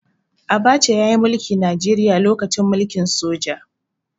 Abacha ya yi mulki Najeriya lokacin mulkin soja.